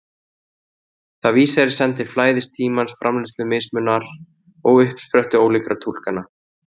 Það vísar í senn til flæðis tímans, framleiðslu mismunar og uppsprettu ólíkra túlkana.